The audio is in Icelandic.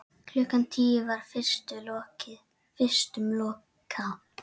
Klukkan tíu var vistum lokað.